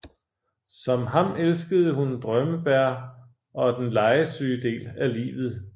Som ham elskede hun drømmebær og den legesyge del af livet